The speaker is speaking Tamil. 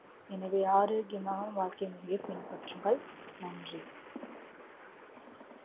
எனவே ஆரோக்கியமான வாழ்க்கை முறையை பின்பற்றுங்கள். நன்றி.